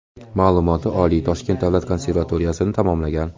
Ma’lumoti oliy, Toshkent davlat konservatoriyasini tamomlagan.